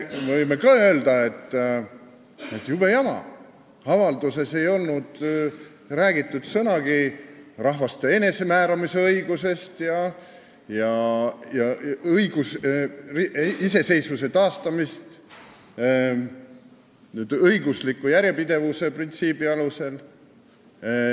Okei, me võime ka öelda, et jube jama, avalduses ei olnud sõnagi rahvaste enesemääramise õigusest ega iseseisvuse taastamisest õigusliku järjepidevuse printsiibi alusel.